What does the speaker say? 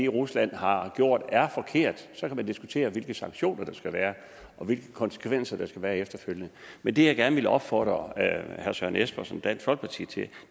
rusland har gjort er forkert så kan man diskutere hvilke sanktioner der skal være og hvilke konsekvenser der skal være efterfølgende men det jeg gerne vil opfordre herre søren espersen og dansk folkeparti til